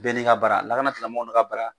Bɛ n'i ka baara lakana tigilamɔgɔw n'u ka baara